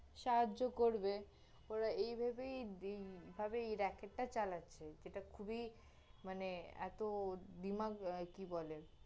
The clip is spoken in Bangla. সাহায্য় করবে, ওরা এই ভেবেই দিগ~ ভাবেই racket টা চালাচ্ছে, যেটা খুবই, মানে, এত, দিমাগ কি বলে